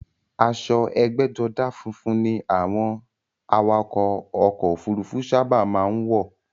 Aṣo ẹgbẹ́jọdá funfun ni àwọn awakọ̀ ọkò òfurufú sábà má ń wọ̀.